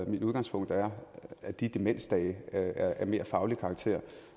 mit udgangspunkt er at de demensdage er af mere faglig karakter